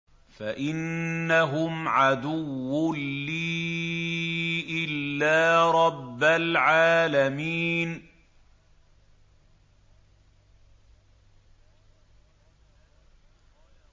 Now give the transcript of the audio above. فَإِنَّهُمْ عَدُوٌّ لِّي إِلَّا رَبَّ الْعَالَمِينَ